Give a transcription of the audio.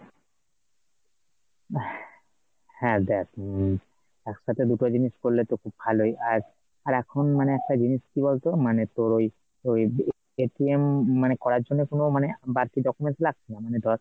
হ্যাঁ দেখ উম একসাথে দুটো জিনিস করলে তো খুব ভালোই, আর আর এখন মানে একটা জিনিস কি বলতো মানে তোর ওই ওই মানে করার জন্য কোনো মানে বাড়তি documents লাগছে না মানে ধর